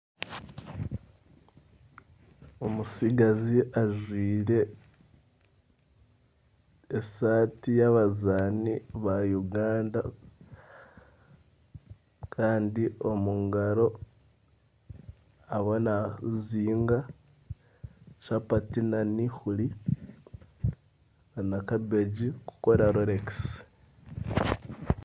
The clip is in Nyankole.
Omutsigazi ajwaire esaati y'abazaani ba Uganda kandi omu ngaro ariyo naazinga chapati n'eihuri na kabeegi kukora rolekisi